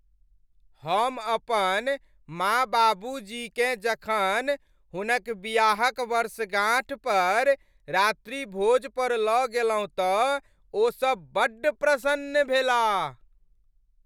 हम अपन माँ बाबूजीकेँ जखन हुनक बियाहक वर्षगांठ पर रात्रिभोज पर लऽ गेलहुँ तँ ओसब बड्ड प्रसन्न भेलाह।